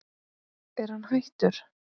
Er hann hættur?